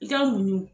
I ka muɲu